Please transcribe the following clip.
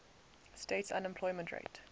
states unemployment rate